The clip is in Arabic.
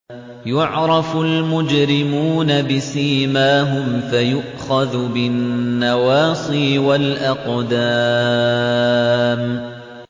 يُعْرَفُ الْمُجْرِمُونَ بِسِيمَاهُمْ فَيُؤْخَذُ بِالنَّوَاصِي وَالْأَقْدَامِ